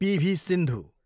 PV. Sindhu